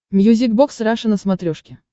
мьюзик бокс раша на смотрешке